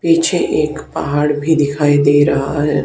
पीछे एक पहाड़ भी दिखाई दे रहा है।